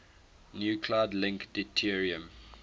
nuclide link deuterium